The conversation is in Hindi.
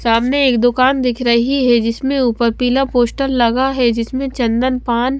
सामने एक दुकान दिख रही है जिसमें ऊपर पीला पोस्टर लगा है जिसमें चंदन पान--